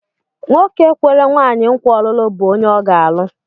Nwoke kwere nwaanyị nkwa ọlụlụ bụ onye ọ ga-alụ.